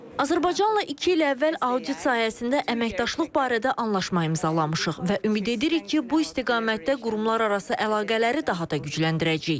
Azərbaycanla iki il əvvəl audit sahəsində əməkdaşlıq barədə anlaşma imzalamışıq və ümid edirik ki, bu istiqamətdə qurumlararası əlaqələri daha da gücləndirəcəyik.